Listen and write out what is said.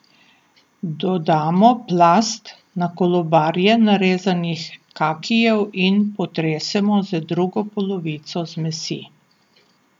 Dodamo plast na kolobarje narezanih kakijev in potresemo z drugo polovico zmesi.